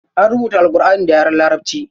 An rubuta Alƙurʼani da yaren larabaci.